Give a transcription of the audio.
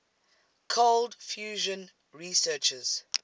cold fusion researchers